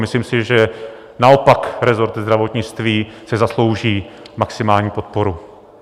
Myslím si, že naopak rezort zdravotnictví si zaslouží maximální podporu.